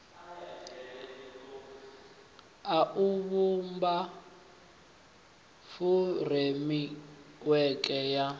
a u vhumba furemiweke ya